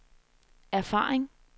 erfaring